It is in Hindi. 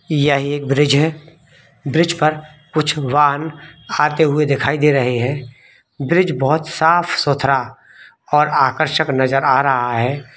यह एक ब्रिज है ब्रिज पर कुछ वाहन आते हुए दिखाई दे रहे हैं ब्रिज बहुत साफ-सुथरा और आकर्षित नजर आ रहा है।